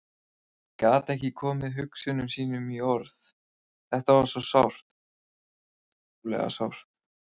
Gat ekki komið hugsunum sínum í orð, þetta var svo sárt, svo ótrúlega sárt.